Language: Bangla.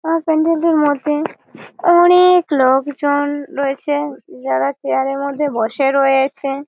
আ প্যান্ডেল টির মধ্যে অনেক-এ লোকজন রয়েছে যারা চেয়ার -এঁর মধ্যে বসে রয়েছে ।